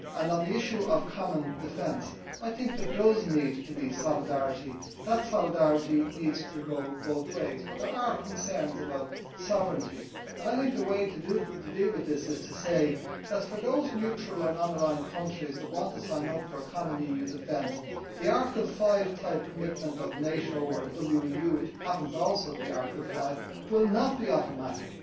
And on the issue of common defence, I think there does need to be solidarity. That solidarity needs to go both ways, but there are concerns about sovereignty and I think the way to deal with this is to say that for those neutral and non aligned countries that want to sign up for a common EU defence, the Article 5 type commitment of NATO or the WEU, which happens also to be Article 5, will not be automatic.